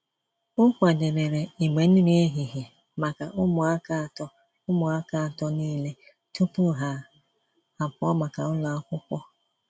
O kwadebere igbe nri ehihie maka ụmụaka atọ ụmụaka atọ niile tupu ha apụọ maka ụlọ akwụkwọ.